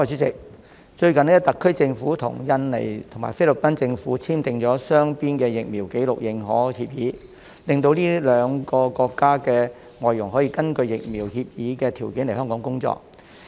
最近特區政府與印度尼西亞和菲律賓政府簽訂了雙邊的疫苗紀錄認可協議，令這兩個國家的外傭可以根據協議的條件來香港工作。